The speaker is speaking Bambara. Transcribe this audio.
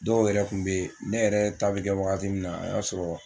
Dɔw yɛrɛ tun bɛ yen ne yɛrɛ ta bɛ kɛ wagati min na a y'a sɔrɔ